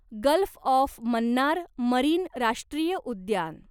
gulf of Mannar marine राष्ट्रीय उद्यान